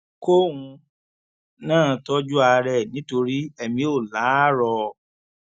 kóun náà tọjú ara ẹ nítorí èmi ò láárọ